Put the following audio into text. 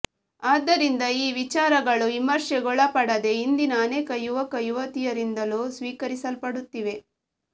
ಆದ್ದರಿಂದ ಈ ವಿಚಾರಗಳು ವಿಮರ್ಶೆಗೊಳಪಡದೆ ಇಂದಿನ ಅನೇಕ ಯುವಕ ಯುವತಿಯರಿಂದಲೂ ಸ್ವೀಕರಿಸಲ್ಪಡುತ್ತಿವೆ